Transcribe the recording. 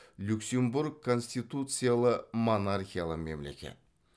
люксембург конституциялы монархиялы мемлекет